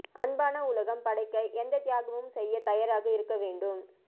அன்பான உலகம் படைக்க எந்த தியாகமும் செய்ய தயாராக இருக்க வேண்டும்